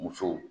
Musow